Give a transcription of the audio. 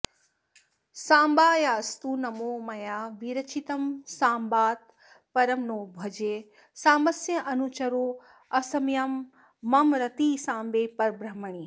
साम्बायास्तु नमो मया विरचितं साम्बात्परं नो भजे साम्बस्यानुचरोऽस्म्यहं मम रतिः साम्बे परब्रह्मणि